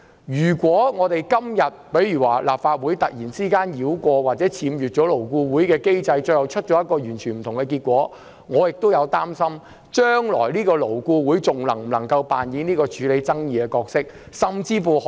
如果立法會繞過或僭越這機制，最後得出一個完全不同的結果，我擔心勞顧會將來還可否扮演處理勞資爭議的角色。